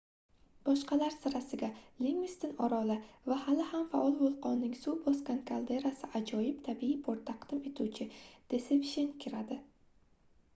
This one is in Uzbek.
boshqalar sirasiga lingviston oroli va hali ham faol vulqonning suv bosgan kalderasi ajoyib tabiiy port taqdim etuvchi desepshen kiradi